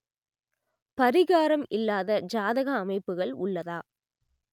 பரிகாரம் இல்லாத ஜாதக அமைப்புகள் உள்ளதா